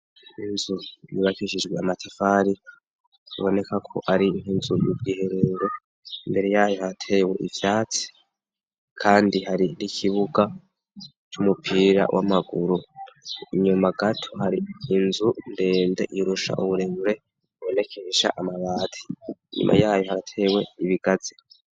Inzu yibakishijwe amatafari iboneka ko ari nkinzu y'ubwiherero, mbere yayo haratewe ivyatsi kandi hari n'ikibuga c'umupira w'amaguru inyuma gato hari inzu ndende irusha uburenure bibonekesha amabati nyuma yayo haratewe ibigaze.